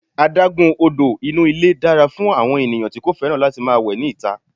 Adágún odò inú ilé dára fún àwọn ènìyàn tí kò fẹ́ràn láti máa wẹ ní ìta.